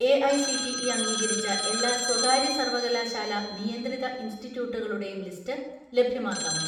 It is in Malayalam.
"എ.ഐ.സി.ടി.ഇ അംഗീകരിച്ച എല്ലാ സ്വകാര്യ സർവകലാശാലാനിയന്ത്രിത ഇൻസ്റ്റിറ്റ്യൂട്ടുകളുടെയും ലിസ്റ്റ് ലഭ്യമാക്കാമോ?"